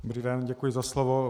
Dobrý den, děkuji za slovo.